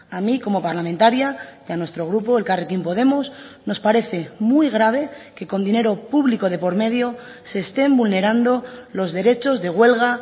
a mí como parlamentaria y a nuestro grupo elkarrekin podemos nos parece muy grave que con dinero público de por medio se estén vulnerando los derechos de huelga